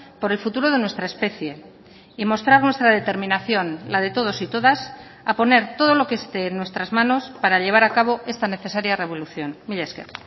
por el futuro de nuestra especie y mostrar nuestra determinación la de todos y todas a poner todo lo que esté en nuestras manos para llevar a cabo esta necesaria revolución mila esker